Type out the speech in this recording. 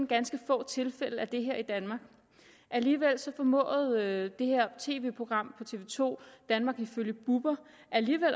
ganske få tilfælde af det her i danmark alligevel formåede det her tv program på tv to danmark ifølge bubber